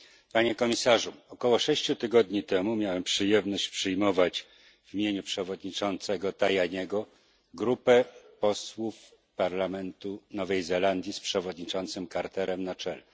Panie Komisarzu! Około sześciu tygodni temu miałem przyjemność przyjmować w imieniu przewodniczącego Tajaniego grupę posłów parlamentu Nowej Zelandii z przewodniczącym Carterem na czele.